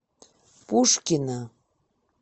пушкино